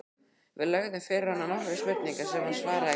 Við lögðum fyrir hana nokkrar spurningar sem hún svaraði greiðlega.